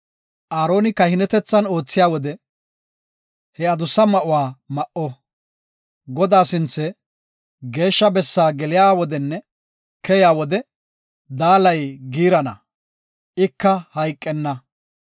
Aaroni kahinetethan oothiya wode ha adussa ma7uwa ma7o. Godaa sinthe, Geeshsha Bessaa geliya wodenne keyiya wode, daalay giirana; ika hayqenna.